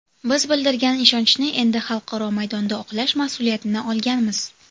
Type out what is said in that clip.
Biz bildirilgan ishonchni endi xalqaro maydonda oqlash mas’uliyatini olganmiz.